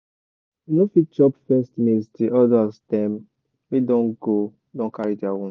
you no fit chop first maize till elders dem wey don go don carry their own